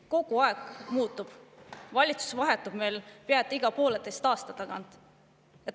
Kogu aeg midagi muutub, valitsus vahetub meil pea iga pooleteise aasta tagant.